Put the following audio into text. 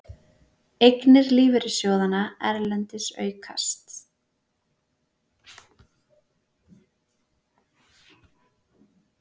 Eignir lífeyrissjóðanna erlendis aukast